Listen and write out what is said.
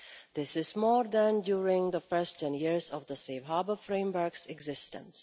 This is more than during the first 10 years of the Safe Harbour framework's existence.